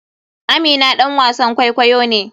Amina ɗan wasan kwaikwayo ne.